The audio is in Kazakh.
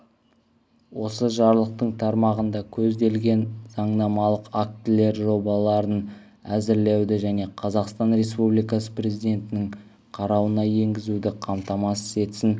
осы жарлықтың тармағында көзделген заңнамалық актілер жобаларын әзірлеуді және қазақстан республикасы президентінің қарауына енгізуді қамтамасыз етсін